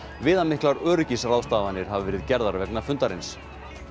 viðamiklar öryggisráðstafanir hafa verið gerðar vegna fundarins